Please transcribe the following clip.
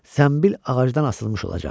Zənbil ağacdan asılmış olacaq.